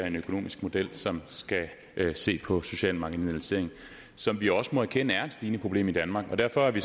en økonomisk model som skal se på social marginalisering som vi også må erkende er et stigende problem i danmark derfor er vi